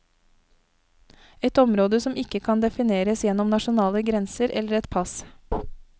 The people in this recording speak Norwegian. Et område som ikke kan defineres gjennom nasjonale grenser eller et pass.